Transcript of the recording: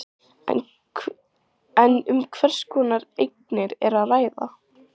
En um hvers konar eignir er að ræða?